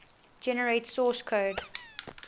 generate source code